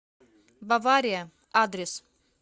бавария адрес